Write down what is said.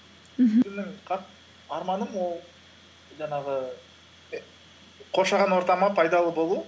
арманым ол жаңағы і қоршаған ортама пайдалы болу